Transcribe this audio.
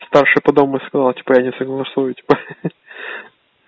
старший по дому сказал типа я не согласую типа ха-ха